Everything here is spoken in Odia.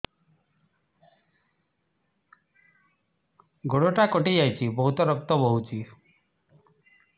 ଗୋଡ଼ଟା କଟି ଯାଇଛି ବହୁତ ରକ୍ତ ବହୁଛି